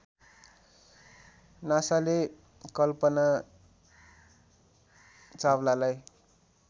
नासाले Kalpana चावलालाई